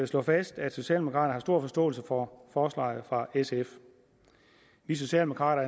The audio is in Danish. slå fast at socialdemokraterne har stor forståelse for forslaget fra sf vi socialdemokrater